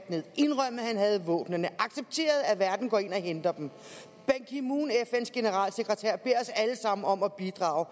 han havde våbnene og accepteret at verden går ind og henter dem ban ki moon fns generalsekretær beder os alle sammen om at bidrage